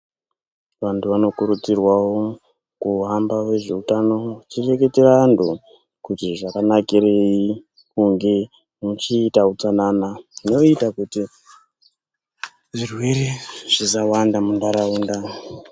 Vantu vanokurudzirwawo kuhamba vezveutano veichireketera antu kuti zvakanakirei, kunge muchiita utsanana. Zvinoita kuti zvirwere zvisawanda muntaraunda.